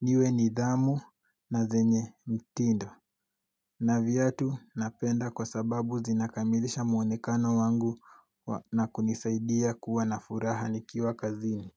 niwe nidhamu, na zenye mtindo. Na viatu napenda kwa sababu zinakamilisha muonekano wangu na kunisaidia kuwa na furaha nikiwa kazini.